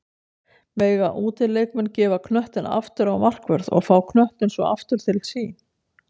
Mega útileikmenn gefa knöttinn aftur á markvörð og fá knöttinn svo aftur til sín?